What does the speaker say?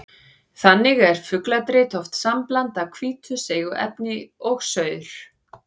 Þannig er fugladrit oft sambland af hvítu seigu efni og saur.